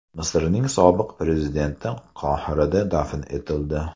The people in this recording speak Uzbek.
Misrning sobiq prezidenti Qohirada dafn etildi.